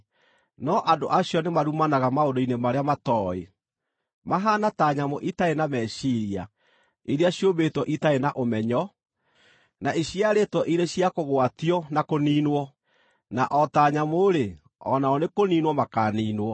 No andũ acio nĩmarumanaga maũndũ-inĩ marĩa matooĩ. Mahaana ta nyamũ itarĩ na meciiria, iria ciũmbĩtwo itarĩ na ũmenyo, na iciarĩtwo irĩ cia kũgwatio na kũniinwo, na o ta nyamũ-rĩ, o nao nĩ kũniinwo makaaniinwo.